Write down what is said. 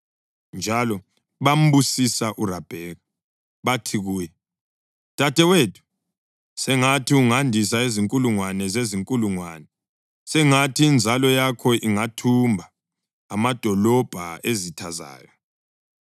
Njalo bambusisa uRabheka bathi kuye, “Dadewethu, sengathi ungandisa izinkulungwane zezinkulungwane; sengathi inzalo yakho ingathumba amadolobho ezitha zayo.”